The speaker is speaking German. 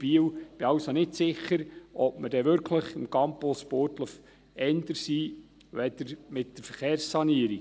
Ich bin also nicht sicher, ob wir mit dem Campus Burgdorf wirklich schneller sind als mit der Verkehrssanierung.